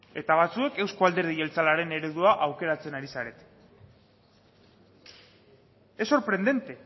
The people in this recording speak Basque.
eta batzuek euzko alderdi jeltzalearen eredua aukeratzen ari zarete es sorprendente